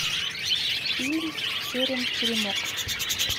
фильм терем теремок